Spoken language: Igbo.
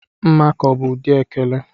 Mmakọ bụ ụdị ekele.